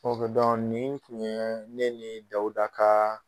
nin tun ye ne nin dawuda ka